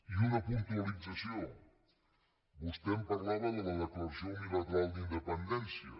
i una puntualització vostè em parlava de la declaració unilateral d’independència